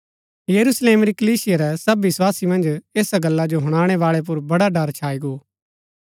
यरूशलेम री कलीसिया रै सब विस्वासी मन्ज ऐसा गल्ला जो हुणनैबाळै पुर बड़ा ड़र छाई गो